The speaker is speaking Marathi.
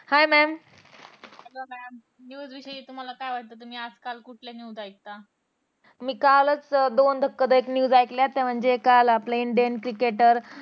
Hi mam hello mam news विषयी तुम्हाला काय वाटतं तुम्ही आज काल कुठल्या news ऐकता मी कालच दोन धक्कादायक news ऐकल्या होत्या म्हणजे काल आपल्या indian cricketer